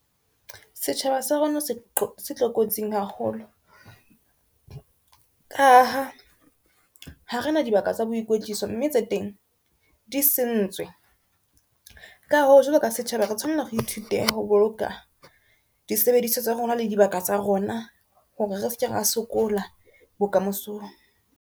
Setjhaba sa rona se tlokotsing haholo ka ha ha rena dibaka tsa boikoetliso, mme tse teng di sentswe. Ka ho jwalo ka setjhaba re tshwanela re ithute ho boloka disebediswa tsa rona le dibaka tsa rona hore re seke ra sokola bokamosong.